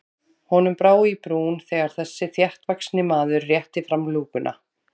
Honum brá í brún þegar þessi þéttvaxni maður rétti fram lúkuna.